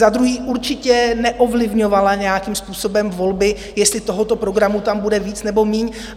Za druhé, určitě neovlivňovala nějakým způsobem volby, jestli tohoto programu tam bude víc nebo méně.